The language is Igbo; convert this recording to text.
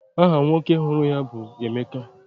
Aha nwoke hụrụ ya bụ Emeka.